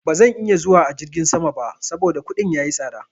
Ba zan iya zuwa a jirgin sama ba saboda kuɗin ya yi tsaɗa.